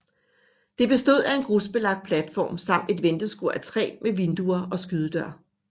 Det bestod af en grusbelagt platform samt et venteskur af træ med vinduer og skydedør